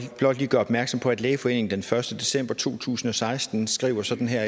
blot lige gøre opmærksom på at lægeforeningen den første december to tusind og seksten skriver sådan her